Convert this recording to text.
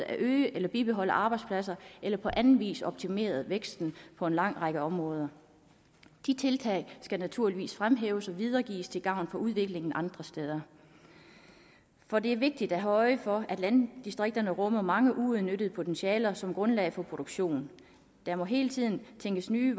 at øge eller bibeholde arbejdspladser eller på anden vis optimere væksten på en lang række områder de tiltag skal naturligvis fremhæves og videregives til gavn for udviklingen andre steder for det er vigtigt at have øje for at landdistrikterne rummer mange uudnyttede potentialer som grundlag for produktion der må hele tiden tænkes nye